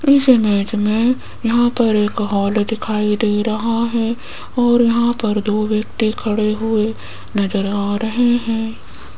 इस इमेज मे यहां पर एक हॉल दिखाई दे रहा है और यहां पर दो व्यक्ति खडे़ हुए नज़र आ रहे है।